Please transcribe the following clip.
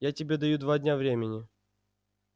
я тебе даю два дня времени